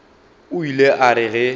o ile a re ge